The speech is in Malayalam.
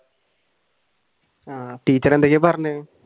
ആഹ് ടീച്ചർ എന്തൊക്കെ പറഞ്ഞു?